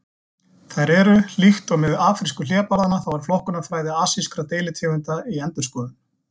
Þær eru: Líkt og með afrísku hlébarðanna þá er flokkunarfræði asískra deilitegunda í endurskoðun.